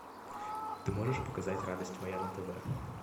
ты можешь показать радость моя на тв